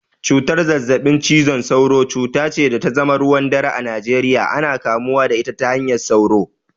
Cutar zazzabin cizon sauro, cuta ce da ta zama ruwan dare a Najeriya, ana kamuwa da ita ta hanyar sauro